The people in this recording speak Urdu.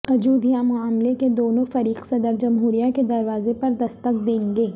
اجودھیا معاملے کے دونوں فریق صدر جمہوریہ کے دروازے پر دستک دیں گے